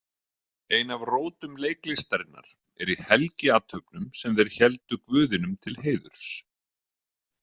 Ein af rótum leiklistarinnar er í helgiathöfnum sem þeir héldu guðinum til heiðurs.